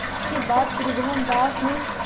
इसके बाद त्रिभुवनदास ने